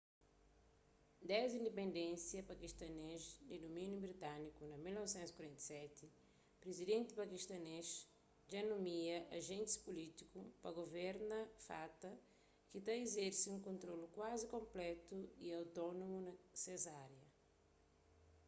desdi indipendénsia pakistanês di dumíniu britániku na 1947 prizidenti pakistanês dja nomia ajentis pulítiku pa guverna fata ki ta izerse un kontrolu kuazi konplétu y otónomu na kes árias